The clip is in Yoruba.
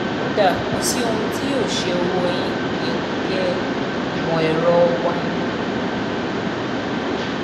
kuda: kò sí ohun tó yóò ṣe owó yín; kùdìẹ̀kudiẹ ìmọ̀-ẹ̀rọ wa ni.